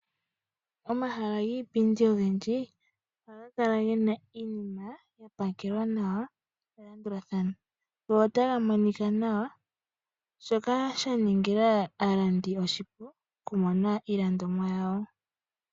Omahala giipindi ogendji ohaga kala gena iinima yapakelwa nawa melandulathano go otaga monika nawa , shoka shaningila aalandi oshipu okumona iilandomwa yawo.